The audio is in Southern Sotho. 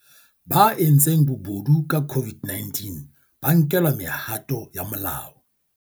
Ba entseng bobodu ka COVID-19 ba nkelwa mehato ya molao